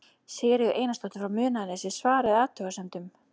Sigríður Einarsdóttir frá Munaðarnesi svaraði athugasemdum